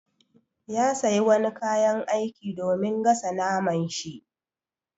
Ya siya wani kayan aiki domin gasa naman shi.